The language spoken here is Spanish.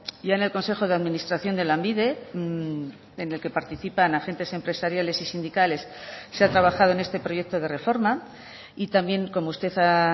y en el consejo de administración de lanbide en el que participan agentes empresariales y sindicales se ha trabajado en este proyecto de reforma y también como usted ha